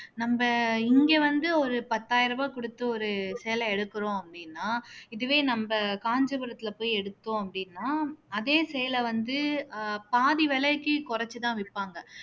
நம்ம இங்க வந்து ஒரு பத்தாயிரம் ரூபாய் கொடுத்து ஒரு சேலை எடுக்கிறோம் அப்படின்னா இதுவே நம்ம காஞ்சிபுரத்துல போய் எடுத்தோம் அப்படின்னா அதே சேலை வந்து ஆஹ் பாதி விலைக்கு குறைச்சுதான் விற்பாங்க